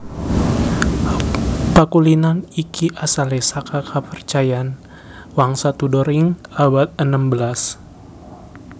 Pakulinan iki asalé saka kapercayan wangsa Tudor ing abad enem belas